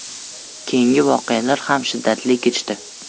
Keyingi voqealar ham shiddatli kechdi.